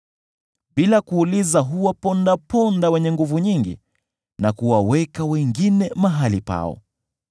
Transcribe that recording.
Bila kuuliza huwapondaponda wenye nguvu nyingi na kuwaweka wengine mahali pao.